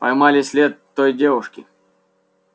поймали след той девушки